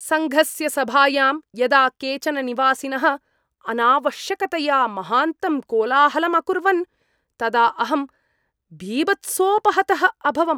सङ्घस्य सभायां यदा केचन निवासिनः अनावश्यकतया महान्तं कोलाहलं अकुर्वन् तदा अहं बीभत्सोपहतः अभवम्।